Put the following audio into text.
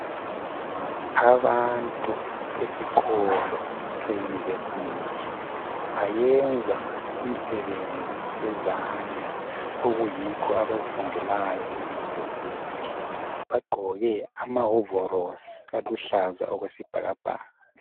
Abantu esikolo seyunivesithi ,bayenza imisebenzi yezandla .Okuyikho abakufundelayo eyunivesithi. Bagqoke amahovolosi aluhlaza okwesibhakabhaka.